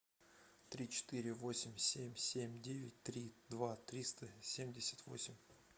три четыре восемь семь семь девять три два триста семьдесят восемь